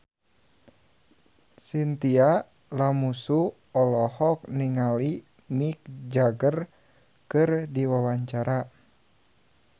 Chintya Lamusu olohok ningali Mick Jagger keur diwawancara